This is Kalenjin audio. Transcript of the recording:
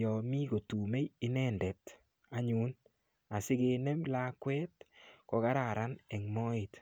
yo mi kotumei inendet anyun asikenem lakwet kokararan eng moet.